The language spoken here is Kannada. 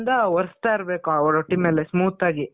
ನೀರಿಂದ ಒರೆಸ್ತ ಇರ್ಬೇಕು ಆ ರೊಟ್ಟಿ ಮೇಲೆ smooth ಆಗಿ.